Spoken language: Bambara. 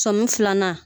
Sɔmi filanan